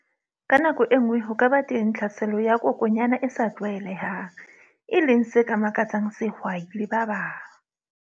Ka nako e nngwe, ho ka ba teng tlhaselo ya kokwanyana e sa tlwaelehang, e leng se ka makatsang sehwai le ba bang.